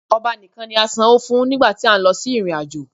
Ọba nìkan ni a sanwó fún nígbà tí a ń lọ sí ìrìn-àjò